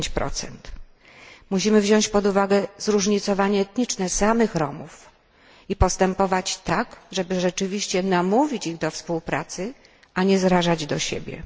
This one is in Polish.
10. Musimy wziąć pod uwagę zróżnicowanie etniczne samych Romów i postępować tak, żeby rzeczywiście namówić ich do współpracy, a nie zrażać do siebie.